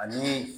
Ani